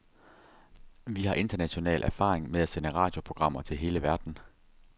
Vi har international erfaring med at sende radioprogrammer til hele verden.